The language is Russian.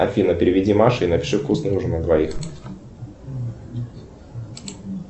афина переведи маше и напиши вкусный ужин на двоих